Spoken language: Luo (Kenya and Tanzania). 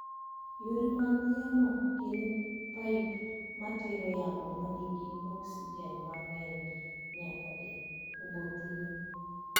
Yore mag yamo gin paip ma tero yamo ma nigi oksijen mang�eny nyaka e obothini.